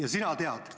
Aga sina tead.